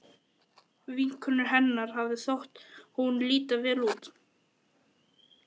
Vinkonu hennar hafði þótt hún líta vel út.